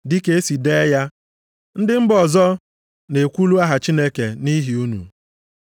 Dịka esi dee ya, “Ndị mba ọzọ na-ekwulu aha Chineke nʼihi unu.” + 2:24 \+xt Aịz 52:5; Izk 36:22\+xt*